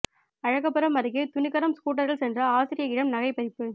அழகப்பபுரம் அருகே துணிகரம் ஸ்கூட்டரில் சென்ற ஆசிரியையிடம் நகை பறிப்பு